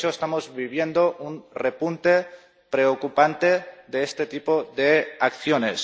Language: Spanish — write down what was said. De hecho, estamos viviendo un repunte preocupante de este tipo de acciones.